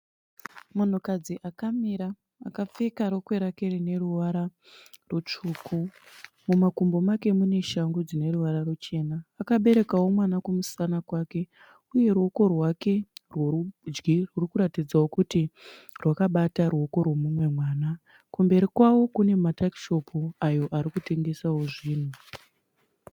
Munhukadzi akamira akapfeka rokwe rake rine ruvara rutsvuku , mumakumbo make mune shangu dzine ruvara ruchena . Akabereka mwana kumusana kwake uye ruoko rwake rwerudyi rurikuratidzawo kuti rwakabata mumwe mwana. Kumberi kwavo kune matakishopu ayo arikutengesawo zvinhu.